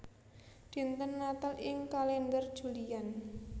Dinten Natal ing kalèndher Julian